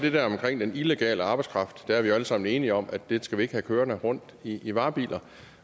det der omkring den illegale arbejdskraft der er vi jo alle sammen enige om at den skal vi ikke have kørende rundt i varebiler